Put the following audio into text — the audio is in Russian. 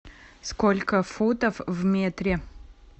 сколько футов в метре